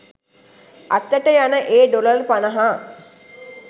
අතට යන ඒ ඩොලර් පනහ